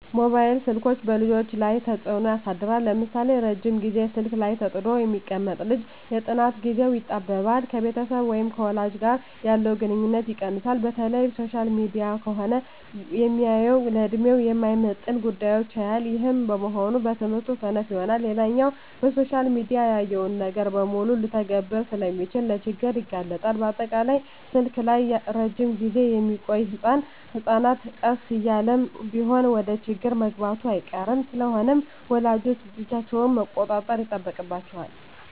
መባይል ስልኮች በልጆች ላይ ተጽኖ ያሳድራል ለምሳሌ:- ረጅም ግዜ ስልክ ላይ ተጥዶ የሚቀመጥ ልጅ የጥናት ግዜው ይጣበባል፣ ከቤተሰብ ወይም ከወላጅ ጋር ያለው ግንኙነት ይቀንሳል፣ በተለይ ሶሻል ሚዲያ ከሆነ ሚያየው ለድሜው የማይመጥን ጉዳዮች ያያል ይህም በመሆኑ በትምህርቱ ሰነፍ ይሆናል። ሌላኛው በሶሻል ሚዲያ ያየውን ነገር በሙሉ ልተግብር ስለሚል ለችግር ይጋለጣል፣ በአጠቃላይ ስልክ ላይ እረጅም ግዜ ሚቆዮ ህጸናት ቀስ እያለም ቢሆን ወደችግር መግባቱ አይቀርም። ስለሆነም ወላጆች ልጆቻቸውን መቆጣጠር ይጠበቅባቸዋል